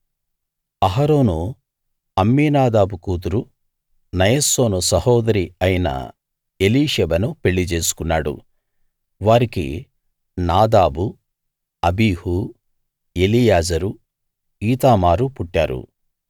అహరోను అమ్మీనాదాబు కూతురు నయస్సోను సహోదరి అయిన ఎలీషెబను పెళ్లి చేసుకున్నాడు వారికి నాదాబు అబీహు ఎలియాజరు ఈతామారు పుట్టారు